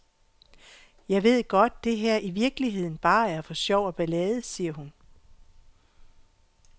Jeg ved godt, det her i virkeligheden bare er for sjov og ballade, siger hun.